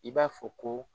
I b'a fɔ ko